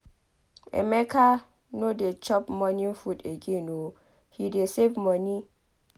Emeka no dey chop morning food again oo he dey save money.